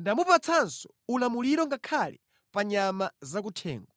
ndamupatsanso ulamuliro ngakhale pa nyama zakuthengo.’ ”